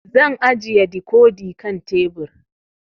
Zan ajiye dikodi kan tebur